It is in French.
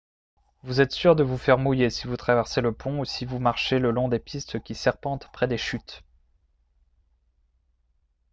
vous êtes sûr de vous faire mouiller si vous traversez le pont ou si vous marchez le long des pistes qui serpentent près des chutes